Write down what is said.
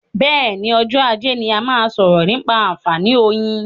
Bẹ́ẹ̀ni, ọjọ́ ajé ni a máa sọ̀rọ̀ nípa àǹfààní oyin.